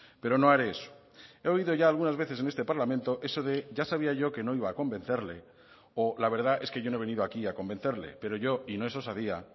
pero no haré eso he oído ya algunas veces en este parlamento eso de ya sabía yo que no iba a convencerle o la verdad es que yo no he venido aquí a convencerle pero yo y no es osadía